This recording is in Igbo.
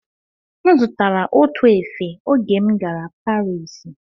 M zụtara otu efe oge m gara Parisi